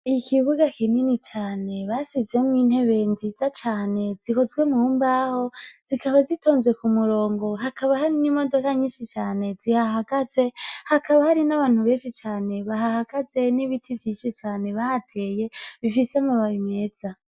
Ikibuga kinini cane basizemwo intebe nziza cane zihozwe mu mbaho zikaba zitonze ku murongo hakaba hari n'imodoka nyinshi cane zihahagaze hakaba hari n'abantu benshi cane bahahagaze n'ibiti vyishi cane bahateye bifise mu bab imeza.